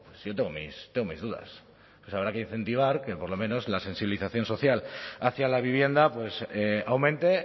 yo tengo mis dudas entonces habrá que incentivar que por lo menos la sensibilización social hacia la vivienda aumente